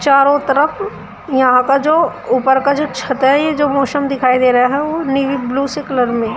चारों तरफ यहां का जो ऊपर का जो छत है जो मौसम दिखाई दे रहा है नीली ब्ल्यू सी कलर में।